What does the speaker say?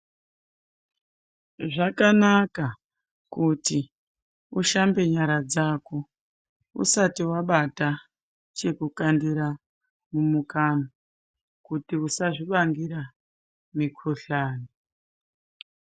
Zvakanaka kuti ushambe nyara dzako usati wabata chekukandira mumukanwa kuti usazviambira mikhuhlani.